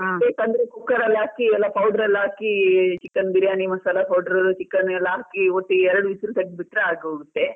Urgent ಗೆ ಬೇಕಂದ್ರೆ cooker ಅಲ್ಲಿ ಹಾಕಿ ಎಲ್ಲ powder ಎಲ್ಲ ಹಾಕಿ chicken biryani masala powder, chicken ಎಲ್ಲ ಹಾಕಿ ಒಟ್ಟಿಗೆ ಎರಡು whistle ತೆಗ್ದು ಬಿಟ್ಟ್ರೆ ಆಗೋಗುತ್ತೆ.